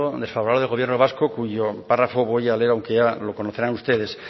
desfavorable del gobierno vasco cuyo párrafo voy a leer aunque me reconocerán usted